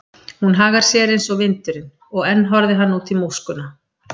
Hún hagar sér eins og vindurinn, og enn horfði hann út í móskuna.